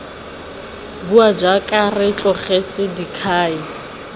bua jaana re tlogetse dikhai